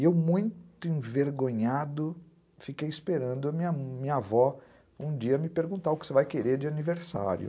E eu, muito envergonhado, fiquei esperando a minha avó um dia me perguntar o que você vai querer de aniversário.